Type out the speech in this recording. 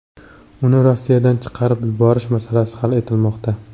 Uni Rossiyadan chiqarib yuborish masalasi hal etilmoqda.